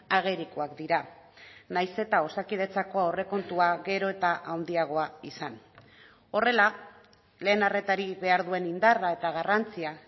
agerikoak dira nahiz eta osakidetzako aurrekontua gero eta handiagoa izan horrela lehen arretari behar duen indarra eta garrantzia